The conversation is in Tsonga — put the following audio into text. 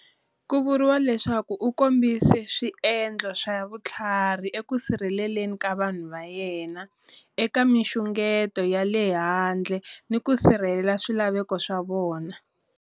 Ku vuriwa leswaku u kombise swiendlo swa vutlhari eku sirheleleni ka vanhu va yena eka minxungeto ya le handle ni ku sirhelela swilaveko swa vona.